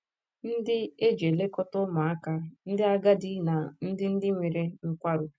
ndị e ji elekọta ụmụaka, ndị agadi na ndị ndị nwere nkwarụ